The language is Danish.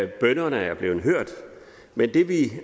bønnerne er blevet hørt